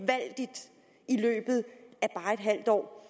i løbet af bare et halvt år